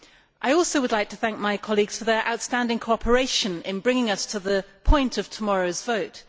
I would also like to thank my colleagues for their outstanding cooperation in bringing us to the point of tomorrow's vote